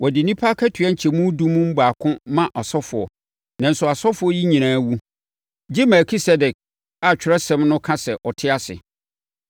Wɔde nnipa akatua nkyɛmu edu mu baako ma asɔfoɔ, nanso asɔfoɔ yi nyinaa wu, gye Melkisedek a Atwerɛsɛm no ka sɛ ɔte ase.